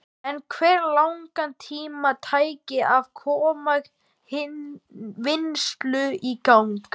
En hve langan tíma tæki að koma vinnslu í gang?